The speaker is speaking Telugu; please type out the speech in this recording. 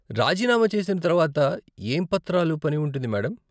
రాజీనామా చేసిన తర్వాత ఏం పత్రాలు పని ఉంటుంది మేడం?